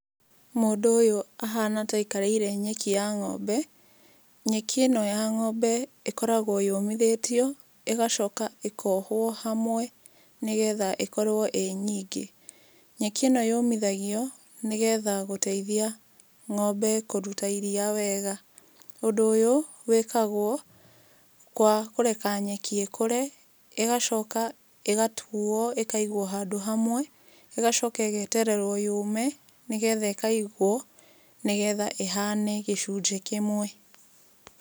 Mũndũ ũyũ ahana ta aikarĩire nyeki ya ng'ombe. Nyeki ĩno ya ng'ombe ĩkoragwo yũmithĩtio, ĩgacoka ĩkohwo hamwe nĩgetha ĩkorwo ĩ nyingĩ. Nyeki ĩno yũmithagio, nĩgetha gũteithia ng'ombe kũruta iria wega. Ũndũ ũyũ wĩkagwo kwa kũreka nyeki ĩkũre, ĩgacoka ĩgatuo ĩkaigwo handũ hamwe, ĩgacoka ĩgetererwo yũũme, nĩ getha ĩkaigwo, nĩgetha ĩhane gĩcunjĩ kĩmwe.